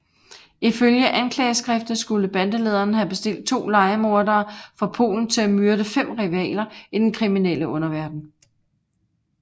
Ifølge anklageskriftet skulle bandelederen have bestilt to lejemordere fra Polen til at myrde fem rivaler i den kriminelle underverden